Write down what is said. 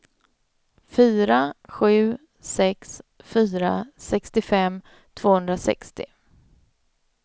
fyra sju sex fyra sextiofem tvåhundrasextio